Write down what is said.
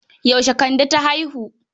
Yaushe Kande ta haihu?